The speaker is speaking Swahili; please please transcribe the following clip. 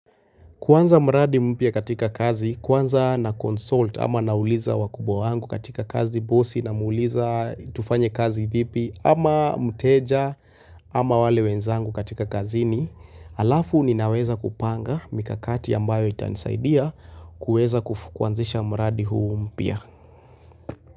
Kuanza mradi mpia katika kazi, kwanza na consult ama nauliza wakubwa wangu katika kazi, bosi na muuliza tufanye kazi vipi ama mteja ama wale wenzangu katika kazini, alafu ni naweza kupanga mikakati ambayo itanisaidia kuweza kufu kuanzisha mradi huu mpya.